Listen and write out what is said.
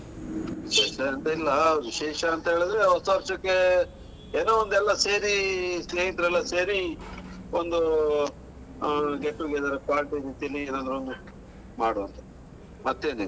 ವಿಶೇಷ ಎಂತ ಇಲ್ಲ, ವಿಶೇಷ ಎಂತಂತ ಹೇಳಿದ್ರೆ ಹೊಸ ವರ್ಷಕ್ಕೆ ಏನೊ ಒಂದು ಎಲ್ಲ ಸೇರಿ ಸ್ನೇಹಿತರೆಲ್ಲಾ ಸೇರಿ ಒಂದೂ ಆ get together party ಯಂತೇಳಿ ಏನಾದ್ರೂ ಒಂದು ಮಾಡುವಂತೇಳಿ ಏನಾದ್ರು ಒಂದು ಮಾಡುವಾಂತ. ಮತ್ತೇನಿದೆ?